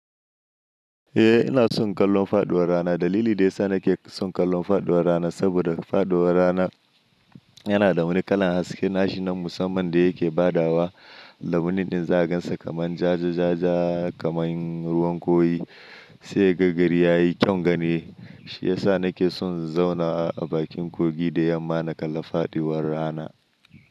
Eh ina son kallon faduwar rana. Dalili da ya sa nake son kallon faduwar rana saboda faduwar rana yana da wani kalan haske, nashi na musamman da yake badawa lambunin zagansa kamar jaje-jaje kamar ruwan kwai sai gagarayi ya yi kyan gani. Shi ya sa nake son in zauna a bakin kogi da yammana kalla faduwar rana.